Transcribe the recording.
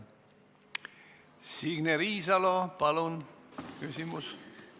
Signe Riisalo, palun küsimus!